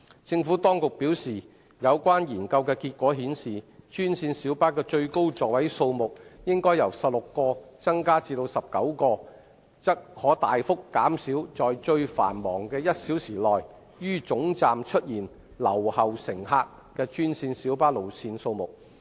政府當局表示，有關研究的結果顯示，專線小巴的最高座位數目應由16個增加至19個，則可大幅減少在最繁忙的1小時內於總站出現留後乘客的專線小巴路線數目。